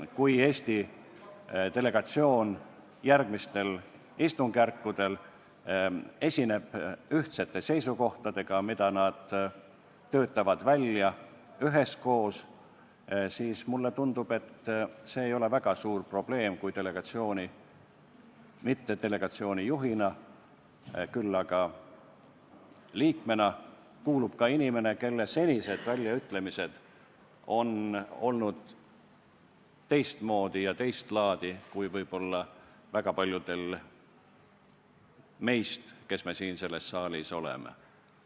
Kui Eesti delegatsioon järgmistel istungjärkudel esineb ühtsete seisukohtadega, mis nad töötavad välja üheskoos, siis mulle tundub, et see ei ole väga suur probleem, kui delegatsiooni, mitte selle juhina, küll aga liikmena kuulub ka inimene, kelle senised väljaütlemised on olnud teistsugused ja teistlaadi kui võib-olla väga paljudel meist, kes me siin selles saalis oleme.